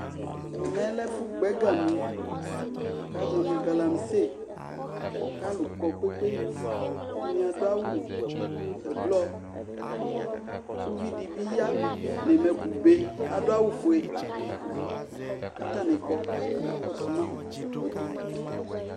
Ɛmɛ lɛ ɛfʋgbɔ ɛgami kʋ azɔ nʋ galamse kʋ alʋ kɔ kpe-kpe-kpe Ɛdɩnɩ adʋ awʋ ɛblɔ kʋ uvi dɩ bɩ ya nʋ amɛkʋbe kʋ adʋ awʋfue kʋ atanɩ kɔ kʋ akakɔsʋ ma